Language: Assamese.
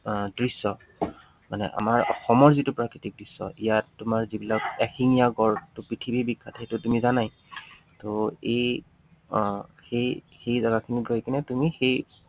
দৃশ্য, মানে অসমৰ যিটো প্ৰাকৃতিক দৃশ্য, ইয়াত তোমাৰ যিবিলাক এশিঙীয়া গড় পৃথিৱী বিখ্যাত সেইটো তুমি জানাই, ত এই আহ সেই সেই জাগাখিনিত গৈ কিনে তুমি সেই